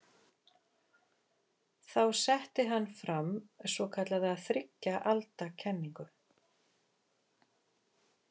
Þá setti hann fram svokallaða þriggja alda kenningu.